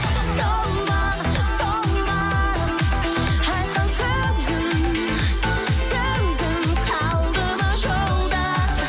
сол ма сол ма айтқан сөзің сөзің қалды ма жолда